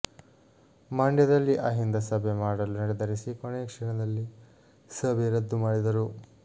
ಮಂಡ್ಯದಲ್ಲಿ ಅಹಿಂದ ಸಭೆ ಮಾಡಲು ನಿರ್ಧರಿಸಿ ಕೊನೆಯ ಕ್ಷಣದಲ್ಲಿ ಸಭೆ ರದ್ದು ಮಾಡಿದರು